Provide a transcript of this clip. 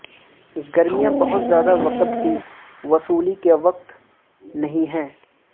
گرمیاں بہت زیادہ وقت کی وصولی کے وقت نہیں ہیں